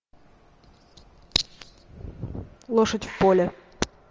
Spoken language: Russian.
лошадь в поле